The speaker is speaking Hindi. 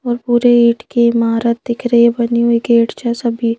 और पूरे ईंट की इमारत दिख रही है बनी हुई गेट है सभी--